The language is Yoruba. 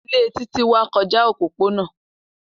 Ile Titi wa kọja opopona.